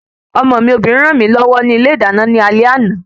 Ọmọ mi Obìnrin ràn mí lọ́wọ́ ni ilé ìdáná ní alé àná